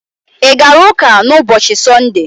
I gara ụka na ụbọchị sunde?